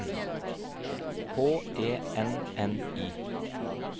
H E N N I